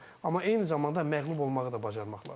Amma eyni zamanda məğlub olmağı da bacarmaq lazımdır.